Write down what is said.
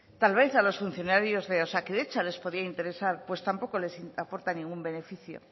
tal vez a los funcionarios de osakidetza les podía interesar pues tampoco les aporta ningún beneficio